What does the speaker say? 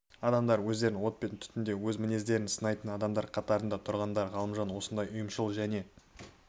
адамдар өздерін от пен түтінде өз мінездерін сынайтын адамдар қатарында тұрғандар ғалымжан осындай ұйымшыл және